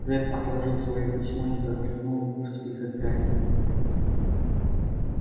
фред отложил своё письмо и заглянул в список гарри